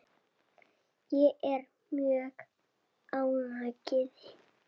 Ég er mjög ánægð.